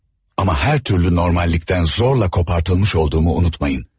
Amma hər türlü normallıqdan zorla kopartılmış olduğumu unutmayın.